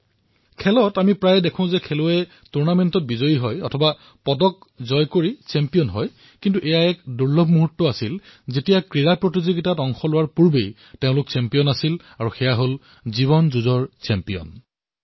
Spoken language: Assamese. খেলসমূহত আমি প্ৰায়েই দেখো যে খেলুৱৈসকলে টুৰ্ণামেণ্ট জয় কৰাৰ পিছত অথবা মেডেল লাভৰ পিছত চেম্পিয়ন বিবেচিত হয় কিন্তু এয়া এনে এক দুৰ্লভ দৃশ্য যত এওঁলোকে খেলত অংশগ্ৰহণ কৰাৰ পূৰ্বেই চেম্পিয়ন আছিল আৰু জীৱনৰ যুঁজতো চেম্পিয়ন হৈছে